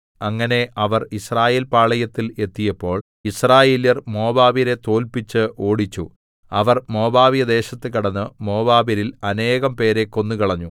അങ്ങനെ അവർ യിസ്രായേൽപാളയത്തിൽ എത്തിയപ്പോൾ യിസ്രായേല്യർ മോവാബ്യരെ തോല്പിച്ച് ഓടിച്ചു അവർ മോവാബ്യദേശത്ത് കടന്ന് മോവാബ്യരിൽ അനേകം പേരെ കൊന്നുകളഞ്ഞു